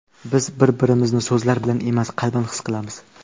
Biz bir-birimizni so‘zlar bilan emas, qalban his qilamiz.